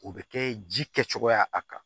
O bɛ kɛ ji kɛ cogoya a kan